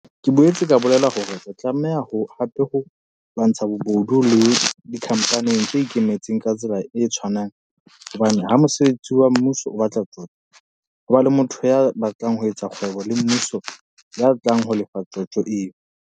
Ke boetse ka bolela hore re tla tlameha hape ho lwantsha le bobodu le dikhampaneng tse ikemetseng ka tsela e tshwanang hobane ha mosebeletsi wa mmuso a batla tjotjo, ho ba le motho ya batlang ho etsa kgwebo le mmuso ya tlang ho lefa tjotjo eo.